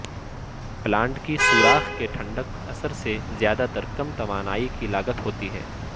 plant کی سوراخ کے ٹھنڈک اثر سے زیادہ تر کم توانائی کی لاگت ہوتی ہے